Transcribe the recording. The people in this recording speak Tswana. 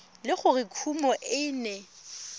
le gore kumo e ne